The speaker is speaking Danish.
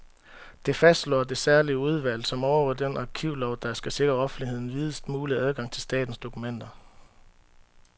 Det fastslår det særlige udvalg, som overvåger den arkivlov, der skal sikre offentligheden videst mulig adgang til statens dokumenter.